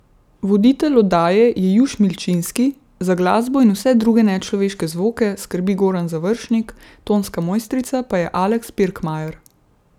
Voditelj oddaje je Juš Milčinski, za glasbo in vse druge nečloveške zvoke skrbi Goran Završnik, tonska mojstrica pa je Aleks Pirkmajer.